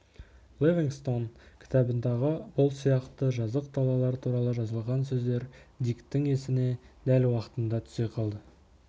ливингстон кітабындағы бұл сияқты жазық далалар туралы жазылған сөздер диктің есіне дәл уақытында түсе қалды